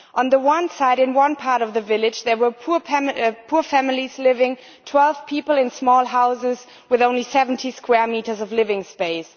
On the one side, in one part of the village, there were poor families living twelve people together in small houses with only 70 square metres of living space.